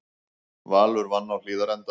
Valur vann á Hlíðarenda